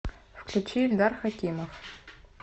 включи ильдар хакимов